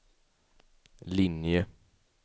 linje